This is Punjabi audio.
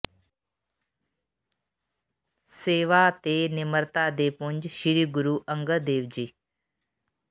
ਸੇਵਾ ਤੇ ਨਿਮਰਤਾ ਦੇ ਪੁੰਜ ਸ੍ਰੀ ਗੁਰੂ ਅੰਗਦ ਦੇਵ ਜੀ